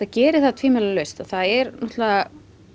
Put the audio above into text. geri það tvímælalaust það er náttúrulega